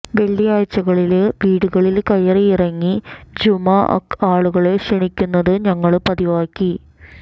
വെള്ളിയാഴ്ചകളില് വീടുകളില് കയറിയിറങ്ങി ജുമുഅക്ക് ആളുകളെ ക്ഷണിക്കുന്നത് ഞങ്ങള് പതിവാക്കി